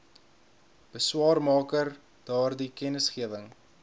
beswaarmaker daardie kennisgewing